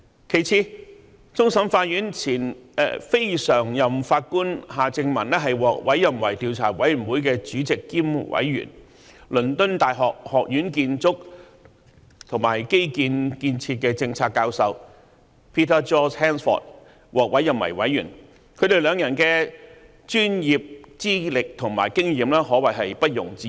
其次，終審法院前非常任法官夏正民獲委任為調查委員會的主席兼委員、而倫敦大學學院建築和基建建設的政策教授 Peter George HANSFORD 則獲委任為委員，他們兩人的專業資歷及經驗可謂毋庸置疑。